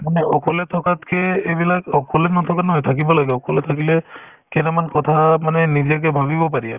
মানে অকলে থকাতকে এইবিলাক অকলে নথকা নহয় থাকিব লাগে অকলে থাকিলে কেইটামান কথা মানে নিজাকে ভাবিব পাৰি আৰু